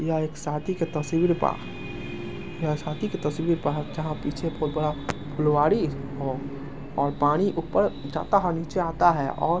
यह एक शादी के तस्वीर बा यह शादी के तस्वीर बा जहाँ पीछे बहुत बड़ा लोआड़ी हो और पानी ऊपर जाता है नीचे आता है और--